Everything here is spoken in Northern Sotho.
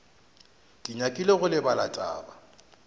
ke nyakile go lebala taba